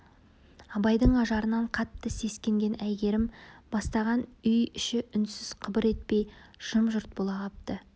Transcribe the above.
абайдың ажарынан қатты сескенген әйгерім бастаған үй іші үнсіз қыбыр етпей жым-жырт бола қапты